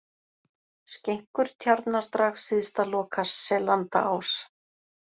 Skenkur, Tjarnardrag, Syðstaloka, Sellandaás